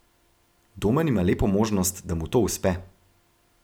Domen ima lepo možnost, da mu to uspe.